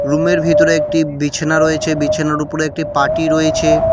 রুমের ভিতরে একটি বিছনা রয়েছে বিছানার উপরে একটি পার্টি রয়েছে।